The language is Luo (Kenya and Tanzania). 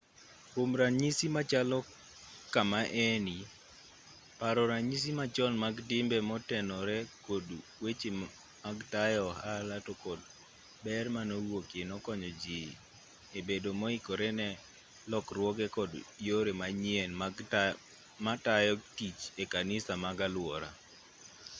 kwom ranyisi machalo kama eni paro ranyisi machon mag timbe motenore kod weche mag tayo ohala to kod ber manowuokie nokonyo ji e bedo moikore ne lokruoge kod yore manyien mag tayo tich e kanise mag aluora